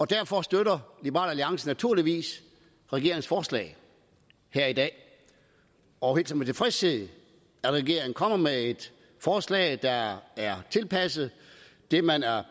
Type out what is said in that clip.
derfor støtter liberal alliance naturligvis regeringens forslag her i dag og hilser med tilfredshed at regeringen er kommet med et forslag der er tilpasset det man er